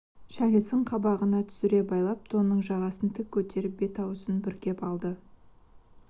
шәлісін қабағына түсіре байлап тонының жағасын тік көтеріп бет-аузын бүркеп алды